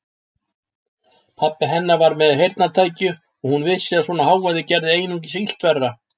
Pabbi hennar var með heyrnartæki og hún vissi að svona hávaði gerði einungis illt verra.